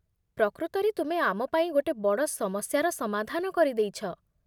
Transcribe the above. ପ୍ରକୃତରେ ତୁମେ ଆମ ପାଇଁ ଗୋଟେ ବଡ଼ ସମସ୍ୟାର ସମାଧାନ କରି ଦେଇଛ